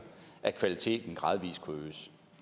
at kvaliteten gradvis